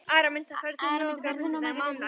Araminta, ferð þú með okkur á mánudaginn?